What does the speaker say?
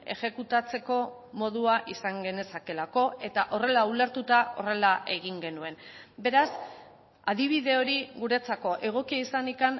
exekutatzeko modua izan genezakeelako eta horrela ulertuta horrela egin genuen beraz adibide hori guretzako egokia izanik